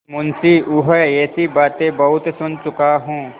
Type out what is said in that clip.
मुंशीऊँह ऐसी बातें बहुत सुन चुका हूँ